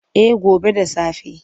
Eh gobe da safe.